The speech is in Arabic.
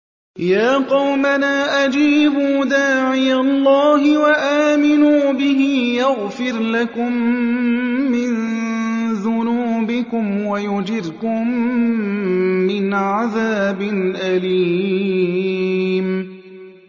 يَا قَوْمَنَا أَجِيبُوا دَاعِيَ اللَّهِ وَآمِنُوا بِهِ يَغْفِرْ لَكُم مِّن ذُنُوبِكُمْ وَيُجِرْكُم مِّنْ عَذَابٍ أَلِيمٍ